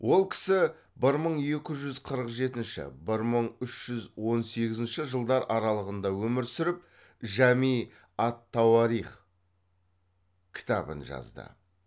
ол кісі бір мың екі жүз қырық жетінші бір мың үш жүз он сегізінші жылдар аралығында өмір сүріп жами ат тауарих кітабын жазды